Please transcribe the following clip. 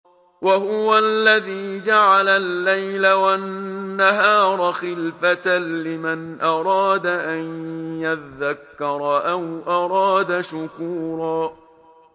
وَهُوَ الَّذِي جَعَلَ اللَّيْلَ وَالنَّهَارَ خِلْفَةً لِّمَنْ أَرَادَ أَن يَذَّكَّرَ أَوْ أَرَادَ شُكُورًا